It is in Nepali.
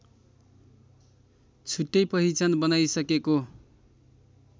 छुट्टै पहिचान बनाइसकेको